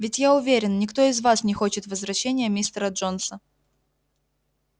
ведь я уверен никто из вас не хочет возвращения мистера джонса